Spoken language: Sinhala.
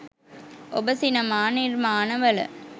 ඔබ සිනමා නිර්මාණවල